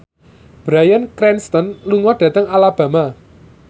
Bryan Cranston lunga dhateng Alabama